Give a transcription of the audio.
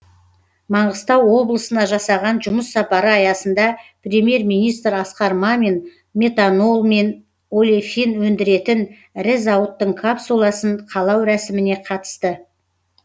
маңғыстау облысына жасаған жұмыс сапары аясында премьер министр асқар мамин метанол мен олефин өндіретін ірі зауыттың капсуласын қалау рәсіміне қатысты